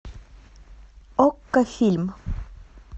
окко фильм